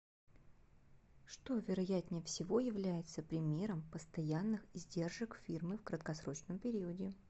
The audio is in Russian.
что вероятнее всего является примером постоянных издержек фирмы в краткосрочном периоде